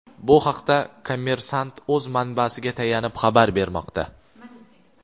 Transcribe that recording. Bu haqda "Kommersant’" o‘z manbasiga tayanib xabar bermoqda.